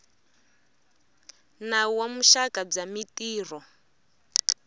nawu wa vuxaka bya mintirho